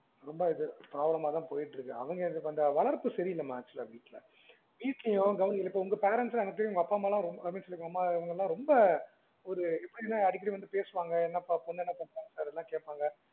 ரொம்ப இது problem மா தான் போயிட்டு இருக்கு அவங்க கொஞ்சம் வளர்ப்பு சரி இல்லமா actual லா வீட்டுல உங்க parents லாம் ஒரு உங்க அப்பா அம்மா லாம் வீட்டுலயும் ரொம்ப ஒரு எப்படின்னா அடிக்கடி வந்து பேசுவாங்க பொண்ணு என்ன பண்றானு கேட்பாங்க